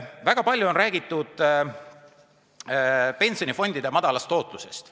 Väga palju on räägitud pensionifondide madalast tootlusest.